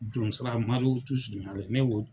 Jonsara